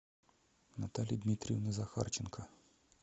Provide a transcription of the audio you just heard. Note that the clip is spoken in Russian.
натальи дмитриевны захарченко